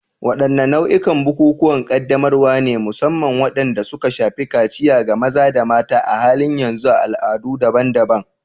Wadanne nau'ikan bukukuwan ƙaddamarwa ne, musamman waɗanda suka shafi kaciya ga maza da mata, a halin yanzu a al'adu daban-daban?